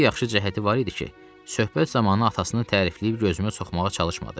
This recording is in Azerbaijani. Bir yaxşı cəhəti var idi ki, söhbət zamanı atasını tərifləyib gözümə soxmağa çalışmadı.